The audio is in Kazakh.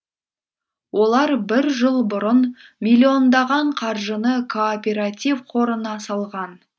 олар бір жыл бұрын миллиондаған қаржыны кооператив қорына салған